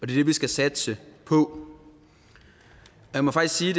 det vi skal satse på jeg må faktisk sige